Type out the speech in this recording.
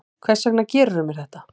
Hvers vegna gerðirðu mér þetta?